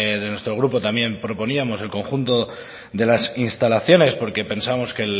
desde nuestro grupo también proponíamos el conjunto de las instalaciones porque pensamos que